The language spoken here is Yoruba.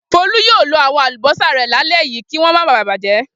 Folú yóò lo àwọn àlùbọ́sà rẹ̀ lálẹ́ yìí kí wọ́n máa ba bàjẹ́.